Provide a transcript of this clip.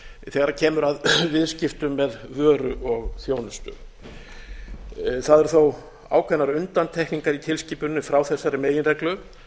þegar kemur að viðskiptum með vöru og þjónustu það eru þó ákveðnar undantekningar í tilskipuninni frá þessari meginreglu